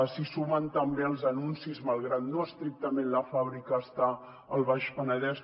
s’hi sumen també els anuncis malgrat que estrictament la fàbrica no està al baix penedès